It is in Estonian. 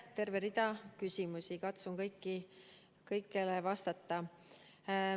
Terve rida küsimusi, katsun kõigile vastata.